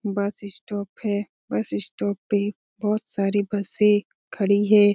बस स्टॉप है bus stop पे बोहोत सारी बसे खडी है|